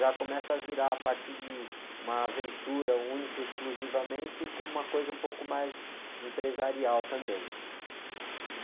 já começa a virar a partir de uma aventura única, exclusivamente, como uma coisa um pouco mais empresarial também.